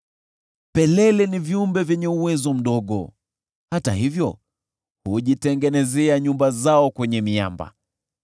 Pelele ni viumbe vyenye uwezo mdogo hata hivyo hujitengenezea nyumba zao kwenye miamba.